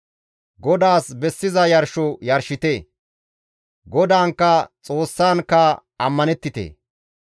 GODAAS bessiza yarsho yarshite; GODAANKKA Xoossankka ammanettite.